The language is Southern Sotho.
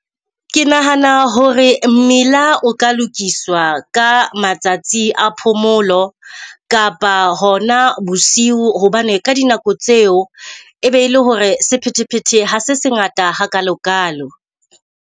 Ke nahana hore mmila o ka lokiswa ka matsatsi a phomolo, kapa hona bosiu hobane ka dinako tseo e be ele hore sephethephethe ha se se ngata ha kalo kalo.